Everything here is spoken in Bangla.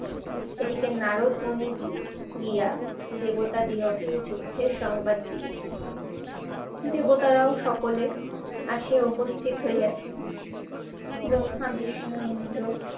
এদিকে নারদ ধ্বনি দি~ গিয়া দেবতা দিওয়াকে এই যুদ্ধের সংবাদ দিয়েছেন। দেবতারাও সকলে আসে উপস্থিত হইয়াছেন। ব্রহ্মা, বিষ্ণু ইন্দ্র,